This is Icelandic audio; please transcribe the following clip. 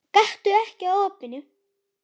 Gakktu ekki að opinu.